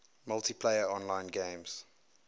multiplayer online games